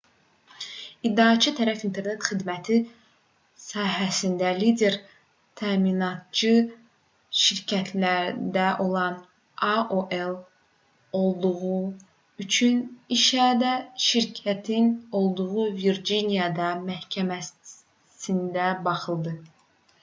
i̇ddiaçı tərəf internet xidməti sahəsində lider təminatçı şirkətlərindən olan aol olduğu üçün işə də şirkətin olduğu virciniya məhkəməsində baxıldı